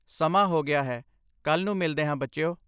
ਸਮਾਂ ਹੋ ਗਿਆ ਹੈ! ਕੱਲ੍ਹ ਨੂੰ ਮਿਲਦੇ ਹਾਂ, ਬੱਚਿਓ!